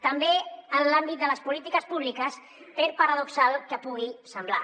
també en l’àmbit de les polítiques públiques per paradoxal que pugui semblar